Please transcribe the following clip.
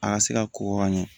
A ka se ka kɔkɔ ka ɲɛ